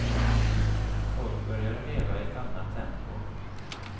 Folk började leva i ett annat tempo.